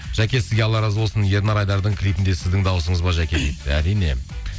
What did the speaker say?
жаке сізге алла разы болсын ернар айдардың клипінде сіздің дауысыңыз ба жаке дейді әрине